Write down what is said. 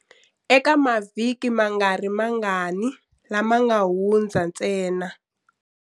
Eka mavhiki mangarimangani lama nga hundza ntsena.